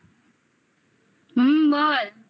হুম বল